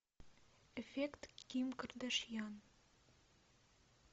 эффект ким кардашьян